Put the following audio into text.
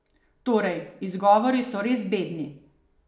Torej, izgovori so res bedni.